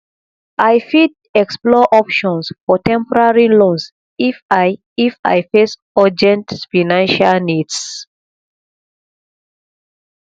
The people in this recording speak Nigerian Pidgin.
i fit explore options for temporary loans if i if i face urgent financial needs